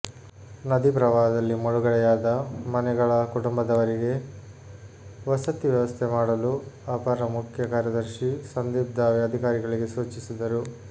ನದಿ ಪ್ರವಾಹದಲ್ಲಿ ಮುಳುಗಡೆಯಾದ ಮನೆಗಳ ಕುಟುಂಬದವರಿಗೆ ವಸತಿ ವ್ಯವಸ್ಥೆ ಮಾಡಲು ಅಪರ ಮುಖ್ಯ ಕಾರ್ಯದರ್ಶಿ ಸಂದೀಪ್ ದಾವೆ ಅಧಿಕಾರಿಗಳಿಗೆ ಸೂಚಿಸಿದರು